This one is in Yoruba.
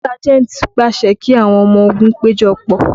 Sájẹ̀ntì pàṣẹ kí àwọn ọmọ ogun péjọpọ̀